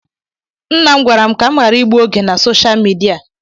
Nna m gwara m ka m ghara igbu oge m na Sosha midia